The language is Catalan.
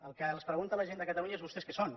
el que es pregunta la gent de catalunya és vostès què són